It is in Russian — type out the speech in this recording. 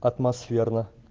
атмосферно